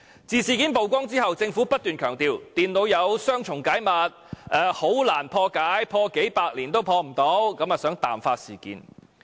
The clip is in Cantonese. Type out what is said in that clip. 自事件曝光後，政府不斷強調電腦有雙重加密，很難破解，數百年也不能破解，想淡化事件。